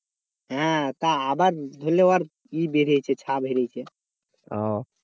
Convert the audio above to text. হ্যাঁ তা আবার ধরলে আর কি বেরিয়েছে